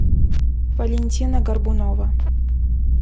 валентина горбунова